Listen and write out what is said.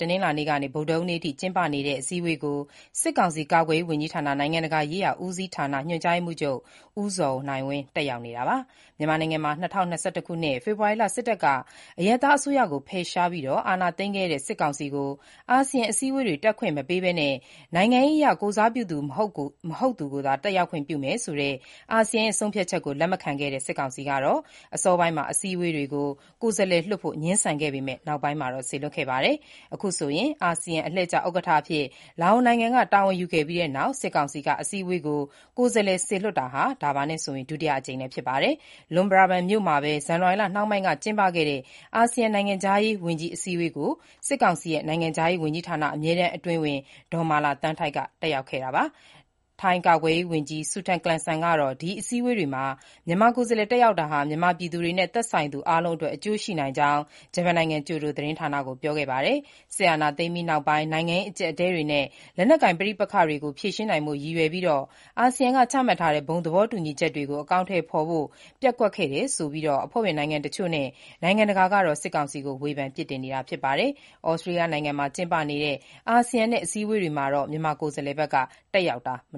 တနင်္လာနေ့ကနေ ဗုဒ္ဓဟူးနေ့အထိ ကျင်းပနေတဲ့ အစည်းအဝေးကို စစ်ကောင်စီ ကာကွယ်ရေး ဝန်ကြီးဌာန နိုင်ငံတကာရေးရာဦးစီးဌာန၊ ညွှန်ကြားရေးမှူးချုပ် ဦးဇော်နိုင်ဝင်း တက်ရောက်နေတာပါ။ မြန်မာနိုင်ငံမှာ ၂၀၂၁ ခုနှစ် ဖေဖော်ဝါရီလ စစ်တပ်က အရပ်သားအစိုးရကို ဖယ်ရှားပြီး အာဏာသိမ်းခဲ့တဲ့ စစ်ကောင်စီကို အာဆီယံအစည်းအဝေးတွေ တက်ခွင့်မပေးဘဲ နိုင်ငံရေးအရ ကိုယ်စားပြုသူ မဟုတ်သူကိုသာ တက်ရောက်ခွင့် ပြုထားတာ ဖြစ်ပါတယ်။ အာဆီယံရဲ့ ဆုံးဖြတ်ချက်ကို လက်မခံတဲ့ စစ်ကောင်စီက အစောပိုင်းမှာ အစည်းအဝေးတွေကို ကိုယ်စားလှယ်လွှတ်ဖို့ ငြင်းဆန်ခဲ့ပေမဲ့ နောက်ပိုင်းမှာ စေလွှတ်ခဲ့တာပါ။ အာဆီယံ အလှည့်ကျဥက္ကဋ္ဌအဖြစ် လာအိုနိုင်ငံက တာဝန်ယူခဲ့ပြီးနောက် စစ်ကောင်စီက အစည်းအဝေးကို ကိုယ်စားလှယ် စေလွှတ်တာ ဒါဟာ ဒုတိယအကြိမ်လည်း ဖြစ်ပါတယ်။ Luang Prabang မြို့မှာပဲ ဇန်နဝါရီလနှောင်းပိုင်းက ကျင်းပခဲ့တဲ့ အာဆီယံ နိုင်ငံခြားရေးဝန်ကြီး အစည်းအဝေးကိုတော့ စစ်ကောင်စီ နိုင်ငံခြားရေးဝန်ကြီးဌာန အမြဲတမ်းအတွင်းဝန် ဒေါ်မာလာသန်းထိုက် တက်ရောက်ခဲ့တာပါ။ ထိုင်းကာကွယ်ရေးဝန်ကြီး Sutin Klungsang ကတော့ ဒီအစည်းအဝေးမှာ မြန်မာကိုယ်စားလှယ် တက်ရောက်တာဟာ မြန်မာပြည်သူတွေနဲ့ သက်ဆိုင်သူအားလုံးအတွက် အကျိုးရှိနိုင်ကြောင်း ဂျပန်နိုင်ငံ ကျိုဒိုသတင်းဌာနကို ပြောခဲ့ပါတယ်။ စစ်အာဏာသိမ်းပြီးနောက်ပိုင်း နိုင်ငံရေး အကျပ်အတည်းတွေနဲ့ လက်နက်ကိုင်ပဋိပက္ခတွေကို ဖြေရှင်းနိုင်ဖို့ ရည်ရွယ်ပြီး အာဆီယံက ချမှတ်ထားတဲ့ ဘုံသဘောတူညီချက်တွေကို အကောင်အထည်ဖော်ဖို့ ပျက်ကွက်တယ်ဆိုပြီး အဖွဲ့ဝင်နိုင်ငံတချို့နဲ့ နိုင်ငံတကာကတော့ စစ်ကောင်စီကို ဝေဖန်နေတာ ဖြစ်ပါတယ်။ သြစတြေးလျနိုင်ငံမှာ ကျင်းပနေတဲ့ အာဆီယံ-ဩစတေးလျ အစည်းအဝေးတွေမှာတော့ မြန်မာကိုယ်စားလှယ်တက်ရောက်နေတာ မ